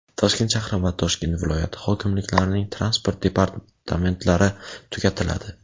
Toshkent shahri va Toshkent viloyati hokimliklarining transport departamentlari tugatiladi.